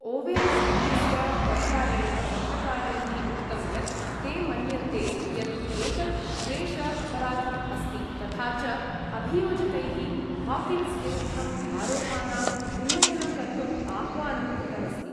Owens इत्यस्य परिवारेण पत्रकारैः उक्तं यत् ते मन्यन्ते यत् एतत् द्वेष अपराधम् अस्ति तथा च अभियोजकैः हॉकिन्स् विरुद्धं आरोपानाम् उन्नयनं कर्तुं आह्वानं कृतम् अस्ति।